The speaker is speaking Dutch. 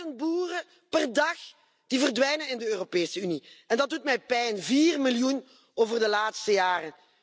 Duizend boeren per dag die verdwijnen in de Europese Unie. Dat doet mij pijn. Vier miljoen over de laatste jaren.